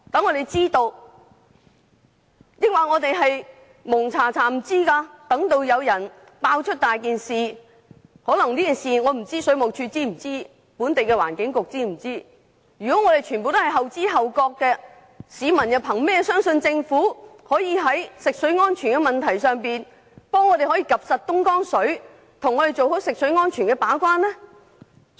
我不知道水務署及本地的環境局是否知悉上述事件，但當局如對所有事情均後知後覺，市民憑甚麼相信政府可在食水安全問題上為我們監察東江水的水質，做好食水安全的把關工作？